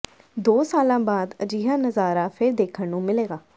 ਦੋ ਸਾਲਾਂ ਬਾਅਦ ਅਜਿਹਾ ਨਜ਼ਾਰਾ ਫਿਰ ਦੇਖਣ ਨੂੰ ਮਿਲੇਗਾ